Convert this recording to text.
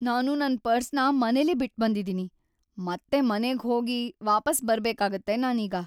ನಾನು ನನ್ ಪರ್ಸ್‌ನ ಮನೆಲೇ ಬಿಟ್ಬಂದಿದೀನಿ. ಮತ್ತೆ ಮನೆಗ್ ಹೋಗಿ ವಾಪಸ್ ಬರ್ಬೇಕಾಗತ್ತೆ ನಾನೀಗ.